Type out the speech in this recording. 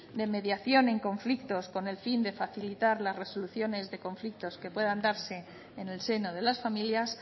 de mediación en conflictos con el fin de facilitar las resoluciones de conflictos que puedan dar en el seno de las familias